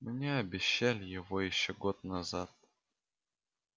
мне обещали его ещё год назад